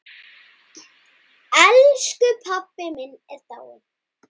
Elsku pabbi minn er dáinn!